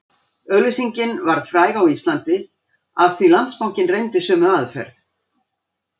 Auglýsingin varð fræg á Íslandi af því Landsbankinn reyndi sömu aðferð